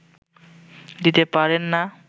দিতে পারেন না